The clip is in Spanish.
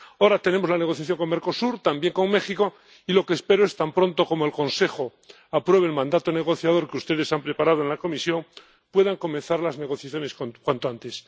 Ahora tenemos la negociación con Mercosur, también con México, y lo que espero es que, tan pronto como el Consejo apruebe el mandato negociador que ustedes han preparado en la Comisión, puedan comenzar las negociaciones cuanto antes.